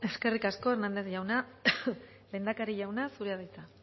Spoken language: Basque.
hernández jauna lehendakari jauna zurea da hitza